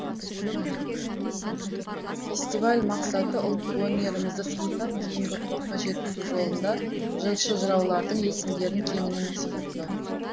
фестиваль мақсаты ұлттық өнерімізді сақтап кейінгі ұрпаққа жеткізу жолында жыршы жыраулардың есімдерін кеңінен насихаттау